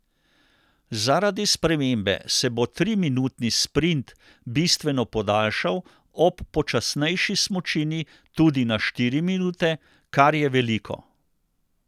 Zaradi spremembe se bo triminutni sprint bistveno podaljšal, ob počasnejši smučini tudi na štiri minute, kar je veliko.